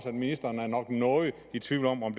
at ministeren jo nok er noget i tvivl om om